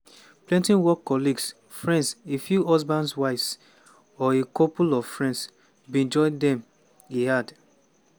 "plenty work colleagues friends a few husbands wives or a couple of friends bin join dem" e add.